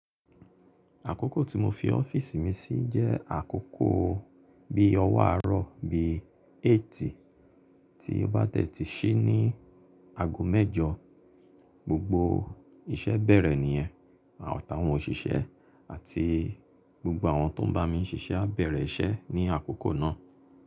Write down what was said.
Àkókò tí mo fi ọ́fíìsì mi sí jẹ́ àkókò bí ọwọ́ àárọ̀ bí 8 tí ó bá tẹ́tí sí ní ago mẹ́jọ. Gbogbo iṣẹ́ bẹ̀rẹ̀ níyẹn àtàwọn òṣìṣẹ́ àti gbogbo àwọn tó ń bá mi ṣiṣẹ́ á bẹ̀rẹ̀ iṣẹ́ ní àkókò náà.